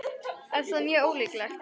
Er það mjög ólíklegt?